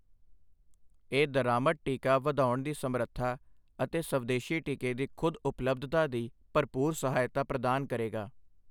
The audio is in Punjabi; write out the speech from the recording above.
ਇਹ ਦਰਾਮਦ ਟੀਕਾ ਵਧਾਉਣ ਦੀ ਸਮਰੱਥਾ ਅਤੇ ਸਵਦੇਸ਼ੀ ਟੀਕੇ ਦੀ ਖੁ਼ਦ ਉਪਲਬਧਤਾ ਦੀ ਭਰਪੂਰ ਸਹਾਇਤਾ ਪ੍ਰਦਾਨ ਕਰੇਗਾ।